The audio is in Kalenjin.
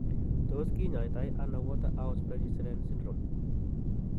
Tos kinyaitaiano Waterhouse Friderichsen syndrome?